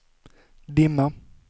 dimma